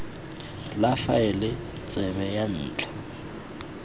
la faele tsebe ya ntlha